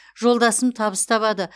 жолдасым табыс табады